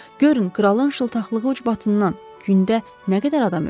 Görün, kralın şıltaqlığı ucbatından gündə nə qədər adam ölür?